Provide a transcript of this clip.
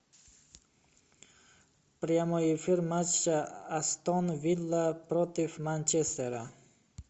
прямой эфир матча астон вилла против манчестера